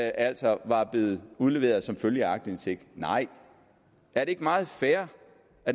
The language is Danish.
altså var blevet udleveret som følge af aktindsigt nej er det ikke meget fair